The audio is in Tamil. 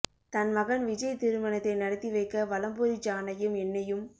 தன் மகன் விஜய் திருமணத்தை நடத்தி வைக்க வலம்புரி ஜானையும் என்னையும்